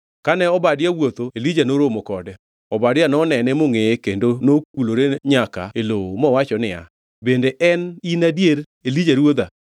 Kane Obadia wuotho, Elija noromo kode. Obadia nonene mongʼeye kendo nokulore nyaka e lowo mowacho niya, “Bende en in adier Elija ruodha?”